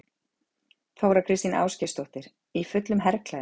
Þóra Kristín Ásgeirsdóttir: Í fullum herklæðum?